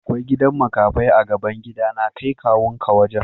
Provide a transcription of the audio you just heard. Akwai gidan makafai a'gaban gida na. Kai kawu'n ka wajen.